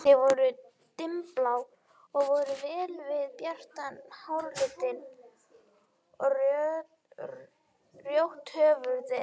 Þau voru dimmblá og fóru vel við bjartan háralitinn og rjótt hörundið.